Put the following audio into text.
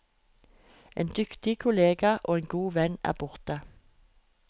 En dyktig kollega og en god venn er borte.